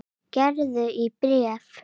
Gerður í bréfi.